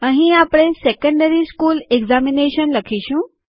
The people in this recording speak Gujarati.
અહીં આપણે સેકન્ડરી સ્કુલ એકઝામિનેશન લખીશું